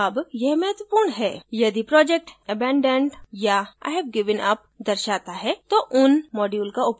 अब यह महत्वपूर्ण है यदि project abandoned या ive given up दर्शाता है तो उन module का उपयोग करना छोड दें